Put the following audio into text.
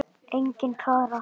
Engin Klara!